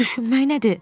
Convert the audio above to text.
Düşünmək nədir?